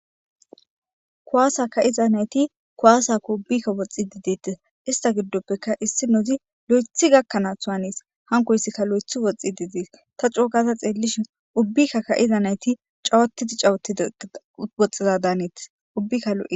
kKuwaasa ka'iza nayti kuwaasaka ubbikka woxxi didetis ista giddoppeka issi nozi lo'ethi gakkanaas u hanes hankoyssikka lo'ethi woxxi diidiis ta cookaza xeellishi ubbikka ka'iza nayti cawotidi cawotidwoxxiza daanetis ubbikkalo.